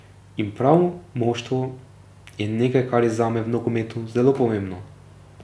In prav moštvo je nekaj, kar je zame v nogometu zelo pomembno.